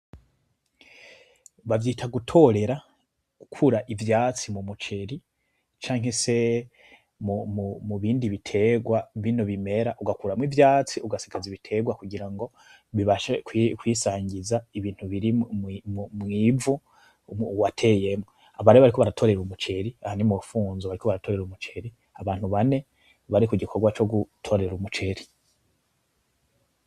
Bavyita gutorera , gukura ivyatsi mumuceri canke se mubindi biterwa bino bimera ugakuramwo ivyatsi ugasigaza ibiterwa kugirango bibashe kwisangiza ibintu biri mwivu wateyemo . Aba rero bariko baratorera umuceri aha nimurufunzo bariko baratorera umuceri abantu bane bari kugikorwa co gutorera umuceri .